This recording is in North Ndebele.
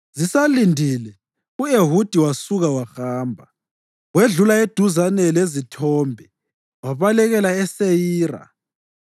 Zisalindile, u-Ehudi wasuka wahamba. Wedlula eduzane lezithombe wabalekela eSeyira.